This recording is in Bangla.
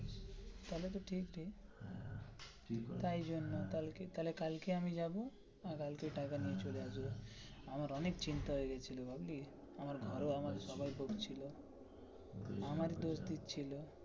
তাহলে তো ঠিক ঠিক তাই জন্য তাহলে কালকে আমি যাবো আর কালকে টাকা নিয়ে চলে আসবো আমার অনেক চিন্তা হয়ে গেছিলো বুজলি আমার ঘরে আমায় সবাই বকছিল আমার দোষই ছিল.